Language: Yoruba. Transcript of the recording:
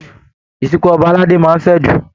Ìsìnkú ọba aládé máa n fẹ'jù.